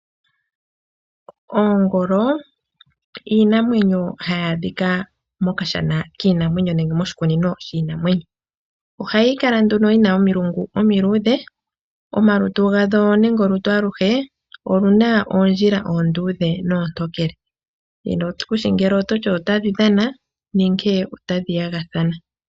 Oongolo iinamwenyo hayaadhika moshikunino shiinamwenyo, oyina omilungu omiluudhe nomolutu omuna omalwaala gaali, oondjila oontokele noondudhe.